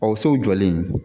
O sow jɔlen